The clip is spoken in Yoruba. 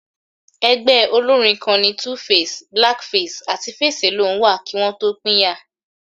Ẹgbẹ́ olórín kan ni 2face, Black Face àti Face Alone wà kí wọn tó pínyà